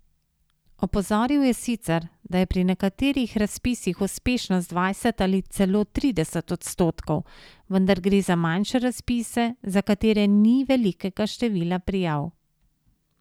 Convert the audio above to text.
Opozoril je sicer, da je pri nekaterih razpisih uspešnost dvajset ali celo trideset odstotkov, vendar gre za manjše razpise, za katere ni velikega števila prijav.